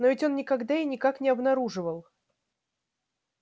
но ведь он никогда и никак не обнаруживал